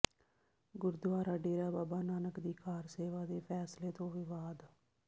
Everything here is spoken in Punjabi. ਗੁਰਦੁਆਰਾ ਡੇਰਾ ਬਾਬਾ ਨਾਨਕ ਦੀ ਕਾਰ ਸੇਵਾ ਦੇ ਫ਼ੈਸਲੇ ਤੋਂ ਵਿਵਾਦ